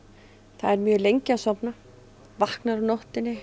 er mjög lengi að sofna vaknar á nóttunni